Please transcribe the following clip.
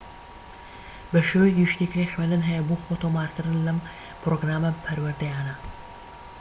بە شێوەیەکی گشتی کرێی خوێندن هەیە بۆ خۆتۆمارکردن لەم پرۆگرامە پەروەردەییانە